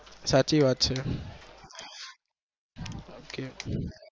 સાચી વાત છે